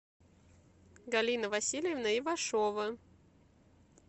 галина васильевна ивашова